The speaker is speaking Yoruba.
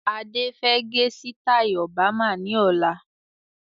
Adé fẹ gẹ sitai Obama ni ọ̀la.